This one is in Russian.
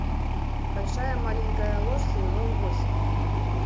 большая маленькая ложь сезон восемь